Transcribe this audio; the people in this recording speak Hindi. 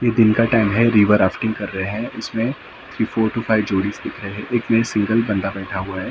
ये दिन का टाइम है रिवर राफ्टिंग कर रहे है इसमे थ्री फोर टू फाइव है एक में सिंगल बंदा बैठा हुआ है रिवर ड्रैफ्टिंग --